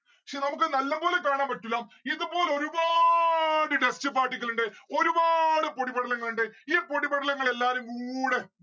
പക്ഷെ നമ്മുക്ക് നല്ലപോലെ കാണാൻ പറ്റൂല്ല ഇത് പോലെ ഒരുപാട് dust particle ഇണ്ട്. ഒരുപാട് പൊടിപടലങ്ങൾ ഇണ്ട് ഈ പൊടിപടലങ്ങൾ എല്ലാരും കൂടെ